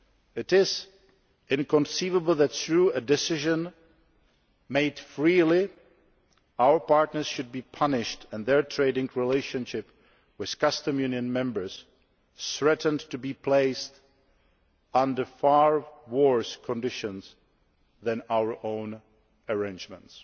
It is inconceivable that, through a decision made freely, our partners should be punished and their trading relationship with Custom Union members threatened to be placed under far worse conditions than our own arrangements.